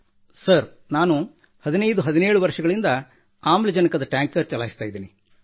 sir 1517 ವರ್ಷಗಳಿಂದ ನಾನು ಆಮ್ಲಜನಕದ ಟ್ಯಾಂಕರ್ ಚಲಾಯಿಸುತ್ತಿದ್ದೇನೆ